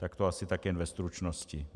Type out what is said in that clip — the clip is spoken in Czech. Tak to asi tak jen ve stručnosti.